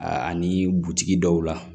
A ani butigi dɔw la